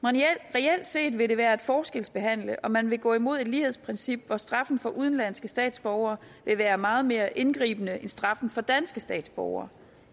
reelt set vil det være at forskelsbehandle og man vil gå imod et lighedsprincip hvor straffen for udenlandske statsborgere vil være meget mere indgribende end straffen for danske statsborgere